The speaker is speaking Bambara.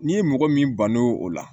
N'i ye mɔgɔ min ban o la